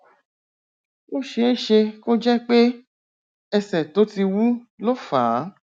ó ṣeé ṣe kó jẹ pé ẹsẹ tó ti wú ló fà á